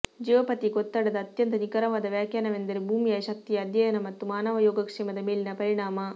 geopathic ಒತ್ತಡದ ಅತ್ಯಂತ ನಿಖರವಾದ ವ್ಯಾಖ್ಯಾನವೆಂದರೆ ಭೂಮಿಯ ಶಕ್ತಿಯ ಅಧ್ಯಯನ ಮತ್ತು ಮಾನವ ಯೋಗಕ್ಷೇಮದ ಮೇಲಿನ ಪರಿಣಾಮ